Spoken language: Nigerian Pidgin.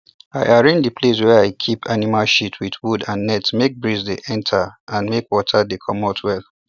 i arrange the place wey i keep animal shit with wood and net make breeze dey enter and make water dey commot well